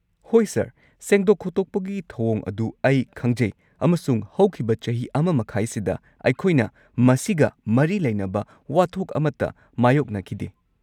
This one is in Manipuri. ꯍꯣꯏ ꯁꯔ, ꯁꯦꯡꯗꯣꯛ-ꯈꯣꯠꯊꯣꯛꯄꯒꯤ ꯊꯧꯑꯣꯡ ꯑꯗꯨ ꯑꯩ ꯈꯪꯖꯩ ꯑꯃꯁꯨꯡ ꯍꯧꯈꯤꯕ ꯆꯍꯤ ꯱.꯵ꯁꯤꯗ ꯑꯩꯈꯣꯏꯅ ꯃꯁꯤꯒ ꯃꯔꯤ ꯂꯩꯅꯕ ꯋꯥꯊꯣꯛ ꯑꯃꯠꯇ ꯃꯥꯌꯣꯛꯅꯈꯤꯗꯦ꯫